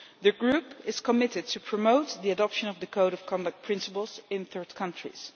The Group is committed to promoting the adoption of the code of conduct principles in third countries.